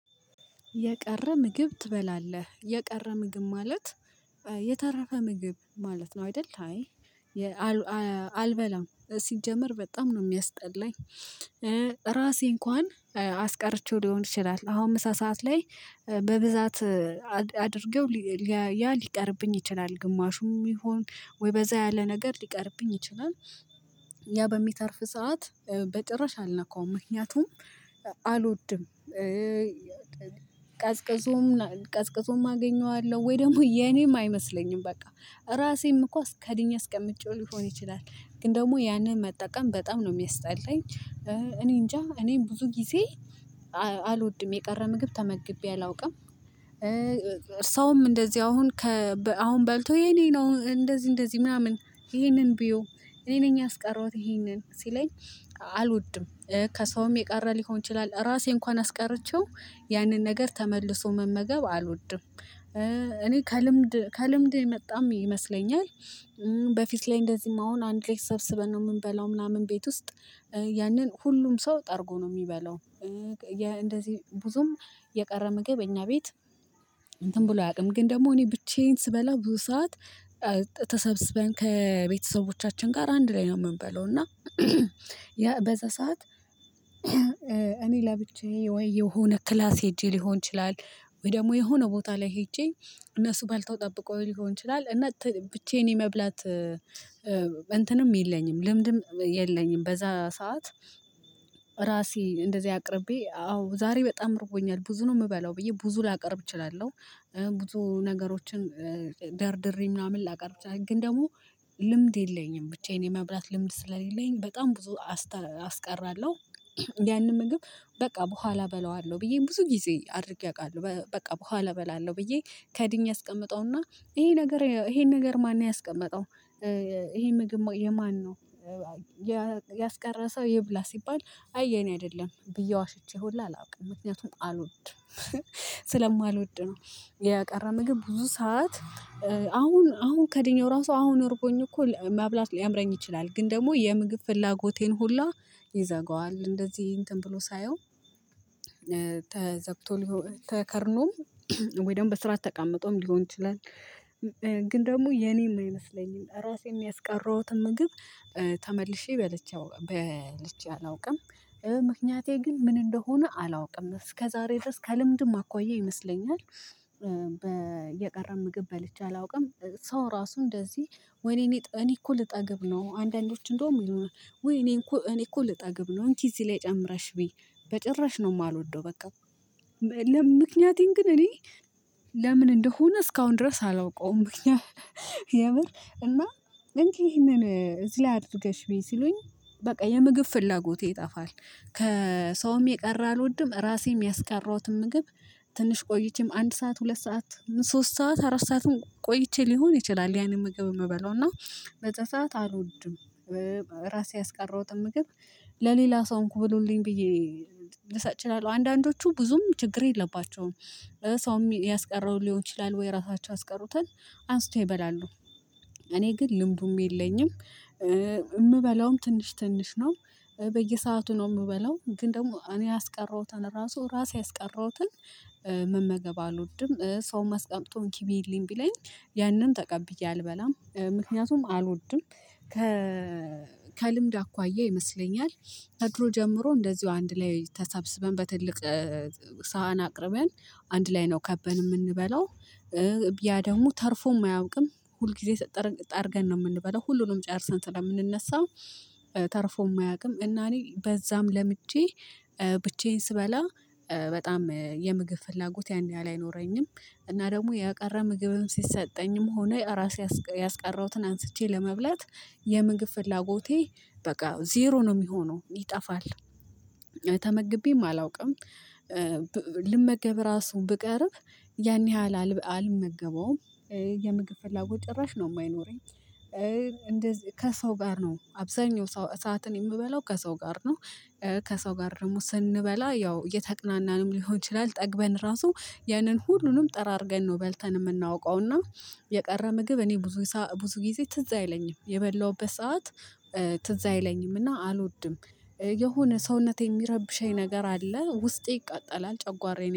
የቀረ ምግብ ትበላለህ የቀረ ምግብ ማለት የተረፈ ምግብ ማለት ነው አይደል? አይ አልበላም ሲጀመር በጣም ነው የሚያስጠላኝ። ራሴ እንኳን አስቀርቼው ሊሆን ይችላል። አሁን ምሳ ሰዓት ላይ በብዛት አድርገው ያ ሊቀርብኝ ይችላል ግማሹም ይሁን ወይ በዛ ያለ ነገር ሊቀርብኝ ይችላል። ያ በሚተርፍ ሰዓት በጭራሽ አልነካውም ምክንያቱም አልወድም። ቀዝቅዞም ቀዝቅዞም አገኘዋለሁ ወይ ደግሞ የኔም አይመስለኝም በቃ ራሴም እኮ ከድኜ አስቀምጬው ሊሆን ይችላል። ግን ደግሞ ያንን መጠቀም በጣም ነው የሚያስጠላኝ። እኔ እንጃ እኔ ብዙ ጊዜ አልወድም የቀረ ምግብ ተመግቤ አላውቅም። ሰውም እንደዚህ አሁን ከ አሁን በልቶ የኔ ነው እንደዚህ እንደዚህ ምናምን ይሄንን ብይው እኔ ነኝ ያስቀረሁት ይሄንን ሲለኝ አልወድም። ከሰውም የቀረ ሊሆን ይችላል ራሴ እንኳን አስቀርቼው ያንን ነገር ተመልሶ መመገብ አልወድም። እኔ ከልምድ ከልምድ የመጣም ይመስለኛል። በፊት ላይ እንደዚህም አሁን አንድ ላይ ተሰብስበን ነው የምንበላው ምናምን ቤት ውስጥ ያንን ሁሉም ሰው ጠርጎ ነው የሚበላው። እንደዚህ ብዙም የቀረ ምግብ እኛ ቤት እንትን ብሎ አያውቅም። ግን ደግሞ እኔ ብቻዬን ስበላ ብዙ ሰዓት ተሰብስበን ከቤተሰቦቻችን ጋር አንድ ላይ ነው የምንበላው እና ያ በዛ ሰዓት እኔ ለብቻዬ ወይ የሆነ ክላስ ሄጄ ሊሆን ይችላል። ወይ ደግሞ የሆነ ቦታ ላይ ሄጄ እነሱ በልተው ጠብቀውኝ ሊሆን ይችላል እና ብቻዬን የመብላት እንትንም የለኝም ልምድም የለኝም። በዛ ሰዓት ራሴ እንደዚህ አቅርቤ አዎ ዛሬ በጣም ርቦኛል ብዙ ነው የምበላው ብዬ ብዙ ላቀርብ እችላለሁ። ብዙ ነገሮችን ደርድሬ ምናምን ላቀርብ እችላለሁ ግን ደግሞ ልምድ የለኝም ብቻዬን የመብላት ልምድ ስለሌለኝ በጣም ብዙ አስቀራለሁ። ያንን ምግብ በቃ በኋላ እበላዋለሁ ብዬ ብዙ ጊዜ አድርጌ አውቃለሁ። በቃ በኋላ እበላለሁ ብዬ ከድኜ አስቀምጠው እና ይሄ ነገር ይሄን ነገር ማን ነው ያስቀመጠው ይሄ ምግብ የማን ነው? ያስቀረ ሰው ይብላ ሲባል አይ የኔ አይደለም ብዬ ዋሽቼ ሁላ አላውቅም ምክንያቱም አልወድም። ስለማልወድ ነው። የቀረ ምግብ ብዙ ሰዓት አሁን አሁን ከድኜው ራሱ አሁን እርቦኝ እኮ መብላት ሊያምረኝ ይችላል። ግን ደግሞ የምግብ ፍላጎቴን ሁሉ ይዘጋዋል እንደዚህ እንትን ብሎ ሳየው። ተዘግቶ ተከድኖም ወይ ደግሞ በስርዓት ተቀምጦም ሊሆን ይችላል። ግን ደግሞ የኔም አይመስለኝም ራሴም ያስቀረሁትን ምግብ ተመልሼ በልቼ አላውቅም። ምክንያቴ ግን ምን እንደሆነ አላውቅም እስከዛሬ ድረስ ከልምድም አኳያ ይመስለኛል። የቀረ ምግብ በልቼ አላውቅም። ሰው ራሱ እንደዚህ ወይኔ እኔ እኮ ልጠግብ ነው አንዳንዶች እንደውም ውይ እኔ እኮ እኔ እኮ ልጠግብ ነው እንኪ እዚህ ላይ ጨምረሽ ብይ በጭራሽ ነው የማልወደው። በቃ ለምክንያቴን ግን እኔ ለምን እንደሆነ እስካሁን ድረስ አላውቀውም። ምክንያት የምር እና እንኪ ይሄንን እዚህ አድርገሽ ብዪ ሲሉኝ በቃ የምግብ ፍላጎቴ ይጠፋል። ከሰውም የቀረ አልወድም ራሴም ያስቀረውትን ምግብ ትንሽ ቆይቼም አንድ ሰዓት ሁለት ሰዓት ሶስት ሰዓት አራት ሰዓትም ቆይቼ ሊሆን ይችላል። ያንን ምግብ የምበላው እና በዛ ሰዓት አልወድም። ራሴ ያስቀረውትን ምግብ ለሌላ ሰው እንኩ ብሉልኝ ብዬ ልሰጥ እችላለሁ አንዳንዶቹ ብዙም ችግር የለባቸውም። ሰውም ያስቀረውን ሊሆን ይችላል ወይ ራሳቸው ያስቀሩትን አንስተው ይበላሉ። እኔ ግን ልምዱም የለኝም። የምበላውም ትንሽ ትንሽ ነው። በየሰአቱ ነው የምበላው ግን ደግሞ እኔ ያስቀረውትን ራሱ ራሴ ያስቀረውትን መመገብ አልወድም። ሰውም አስቀምጦ እንኪ ብዪልኝ ቢለኝ ያንን ተቀብዬ አልበላም ምክንያቱም አልወድም። ከ ከልምድ አኳያ ይመስለኛል። ከድሮ ጀምሮ እንደዚሁ አንድ ላይ ተሰብስበን በትልቅ ሳህን አቅርበን አንድ ላይ ነው ከበን የምንበላው። ያ ደግሞ ተርፎም አያውቅም ሁልጊዜ ጠርገን ነው የምንበላው ሁሉንም ጨርሰን ስለምንነሳ። ተርፎም አያውቅም። እና እኔ በዛም ለምጄ ብቻዬን ስበላ በጣም የምግብ ፍላጎት ያን ያህል አይኖረኝም። እና ደግሞ የቀረ ምግብም ሲሰጠኝም ሆነ ራሴ ያስቀረውትን አንስቼ ለመብላት የምግብ ፍላጎቴ በቃ ዜሮ ነው የሚሆነው ይጠፋል። ተመግቤም አላውቅም። ልመገብ ራሱ ብቀርብ ያን ያህል አልመገበውም። የምግብ ፍላጎት ጭራሽ ነው የማይኖረኝ። እንደዚህ ከሰው ጋር ነው አብዛኛው ሰዓትን የምበላው ከሰው ጋር ነው። ከሰው ጋር ደግሞ ስንበላ ያው እየተቅናናንም ሊሆን ይችላል ጠግበን ራሱ ያንን ሁሉንም ጠራርገን ነው በልተን የምናውቀው። እና የቀረ ምግብ እኔ ብዙ ብዙ ጊዜ ትዝ አይለኝም የበላሁበት ሰዓት ትዝ አይለኝም እና አልወድም። የሆነ ሰውነቴ የሚረብሸኝ ነገር አለ ውስጤ ይቃጠላል ጨጓራዬን